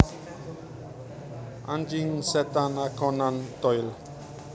Anjing Setan A Conan Doyle